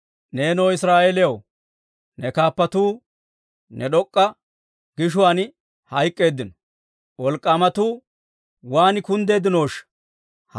«Neenoo Israa'eelew, ne kaappatuu ne d'ok'k'aa gishuwaan hayk'k'eeddino. Wolk'k'aamatuu waan kunddeeddinooshsha!